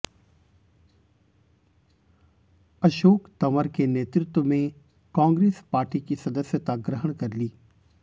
अशोक तंवर के नेतृत्व में कांग्रेस पार्टी की सदस्यता ग्रहण कर ली